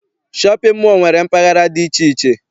Shọpịn mọọ nwere mpaghara dị iche iche.